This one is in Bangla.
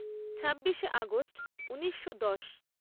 ছাব্বিশে আগষ্ট ঊনিশো দশ